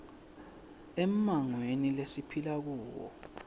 emmangweni lesiphila kuwo